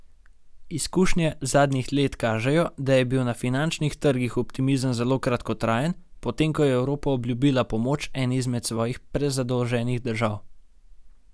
Izkušnje zadnjih let kažejo, da je bil na finančnih trgih optimizem zelo kratkotrajen, potem ko je Evropa obljubila pomoč eni izmed svojih prezadolženih držav.